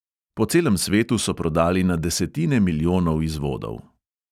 Po celem svetu so prodali na desetine milijonov izvodov.